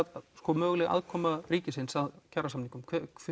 möguleg aðkoma ríkisins að kjarasamingum